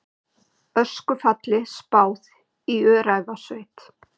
Öskufalli spáð í Öræfasveit